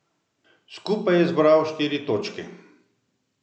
Skupaj je zbral štiri točke.